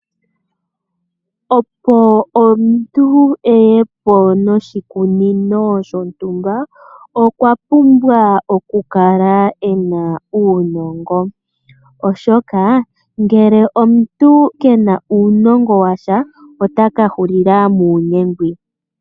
Opo omuntu eye po noshikunino shontumba okwa pumbwa oku kala ena uunongo, oshoka ngele omuntu kena uunongo washa otaka hulila muunyengwi.